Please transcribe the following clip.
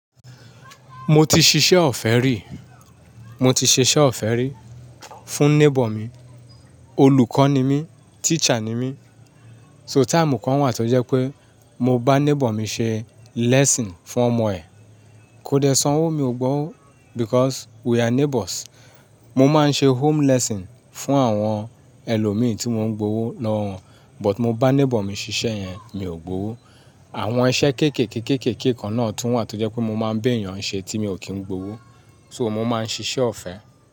Mo ti ṣiṣẹ́ ọ̀fẹ́ rí, mo ti ṣiṣẹ́ ọ̀fẹ́ rí fún neighbour mi. Olùkọ́ ni mí, teacher ni mí. So time kan wà tó jẹ́ pé mo bá neighbour mi ṣe lesson fún ọmọ ẹ̀. Kó dè sanwó, mi ò gbowó because we are neighbours. Mo máa ń ṣe home lesson fún àwọn ẹlòmíì tí mo ń gbówó lọ́wọ́ won, but mo bá neighbour mi ṣiṣẹ́ yẹn mi ò gbówó. Àwọn iṣẹ́ kéékèèké kéékèèké kan náà tún wà tó jẹ́ pé mo máa ń béèyàn ṣe tí mi ò kí ń gbówó, so mo máa ń ṣiṣẹ́ ọ̀fẹ́